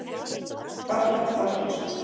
Þorkell Þorkelsson.